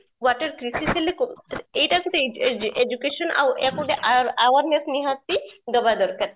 water crisis ହେଲେ ଏଟା ଯଦି education ଆକୁ ଯଦି awareness ନିହାତି ଦେବା ଦରକାର